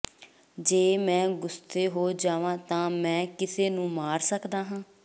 ਜੇ ਮੈਂ ਗੁੱਸੇ ਹੋ ਜਾਵਾਂ ਤਾਂ ਮੈਂ ਕਿਸੇ ਨੂੰ ਮਾਰ ਸਕਦਾ ਹਾਂ